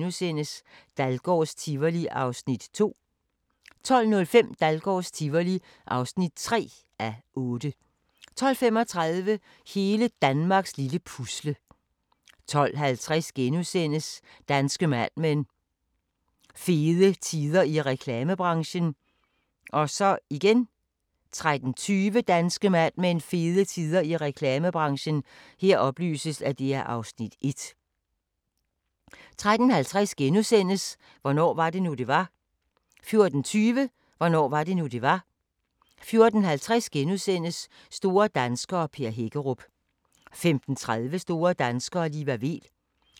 13:10: Landmand søger kærlighed (Afs. 2) 14:00: Danmarks dejligste slotshoteller (Afs. 5) 14:35: Danmarks dejligste slotshoteller (Afs. 6) 20:00: Fantastiske fund (Afs. 7) 20:50: En have i gave (Afs. 4) 21:20: Hellas Have (4:6) 23:20: Klipfiskerne (Afs. 8) 00:20: The Human Stain 02:05: Cold Case (128:156) 02:55: Cold Case (127:156)*